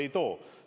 Ei too.